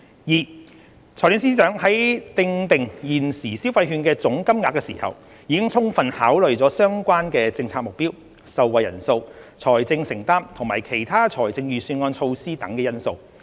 二財政司司長在訂定現時消費券的總金額時，已充分考慮相關政策目標、受惠人數、財政承擔及其他財政預算案措施等因素。